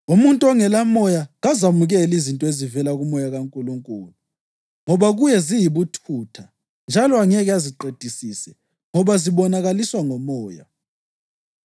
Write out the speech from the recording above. Umuntu ongelaMoya kazamukeli izinto ezivela kuMoya kaNkulunkulu ngoba kuye ziyibuthutha njalo angeke aziqedisise ngoba zibonakaliswa ngomoya.